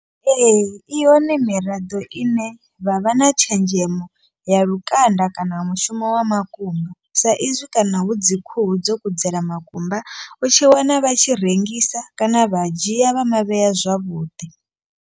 Ee i yone miraḓo ine vha vha na tshenzhemo ya lukanda kana mushumo wa makumba. Sa izwi kana hu dzi khuhu dzo kudzela makumba u tshi wana vha tshi rengisa kana vha dzhia vha mavhea zwavhuḓi.